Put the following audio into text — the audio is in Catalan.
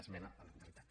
esmena a la totalitat